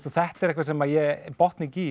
þetta er eitthvað sem ég botna ekki í